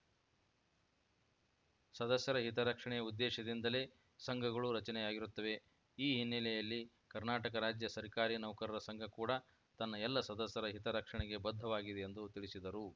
ಸದಸ್ಯರ ಹಿತರಕ್ಷಣೆಯ ಉದ್ದೇಶದಿಂದಲೇ ಸಂಘಗಳು ರಚನೆಯಾಗಿರುತ್ತವೆ ಈ ಹಿನ್ನೆಲೆಯಲ್ಲಿ ಕರ್ನಾಟಕ ರಾಜ್ಯ ಸರ್ಕಾರಿ ನೌಕರರ ಸಂಘ ಕೂಡ ತನ್ನ ಎಲ್ಲ ಸದಸ್ಯರ ಹಿತರಕ್ಷಣೆಗೆ ಬದ್ಧವಾಗಿದೆ ಎಂದು ತಿಳಿಸಿದರು